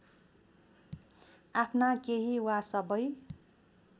आफ्ना केही वा सबै